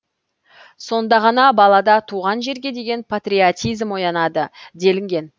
сонда ғана балада туған жерге деген патриотизм оянады делінген